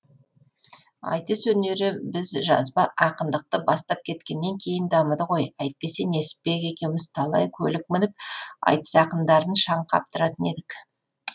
айтыс өнері біз жазба ақындықты бастап кеткеннен кейін дамыды ғой әйтпесе несіпбек екеуміз талай көлік мініп айтыс ақындарын шаң қаптыратын едік